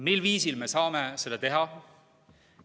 Mil viisil me saame seda teha?